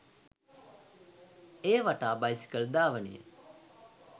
එය වටා බයිසිකල් ධාවනය